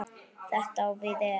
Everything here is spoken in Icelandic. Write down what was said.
Þetta á við ef